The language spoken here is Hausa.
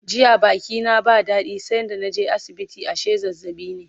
jiya Baki na ba dadi sai da naje asibiti ashe zazzaɓi ne